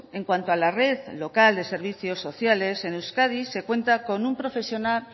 en cuanto a la red local de servicios sociales en euskadi se cuenta con un profesional